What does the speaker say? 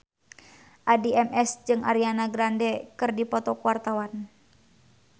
Addie MS jeung Ariana Grande keur dipoto ku wartawan